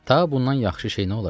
Ta bundan yaxşı şey nə ola bilər?